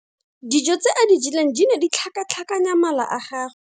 Dijô tse a di jeleng di ne di tlhakatlhakanya mala a gagwe.